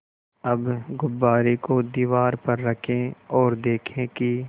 अब गुब्बारे को दीवार पर रखें ओर देखें कि